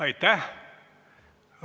Aitäh!